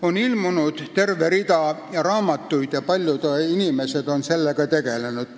On ilmunud terve rida raamatuid ja paljud inimesed on sellega tegelenud.